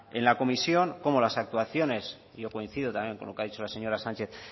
en la en la comisión cómo las actuaciones yo coincido también con lo que ha dicho la señora sánchez